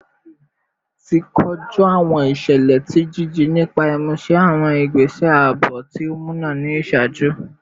Ti koju awọn iṣẹlẹ ti jiji nipa imuse awọn igbese aabo ti o muna ni iṣaaju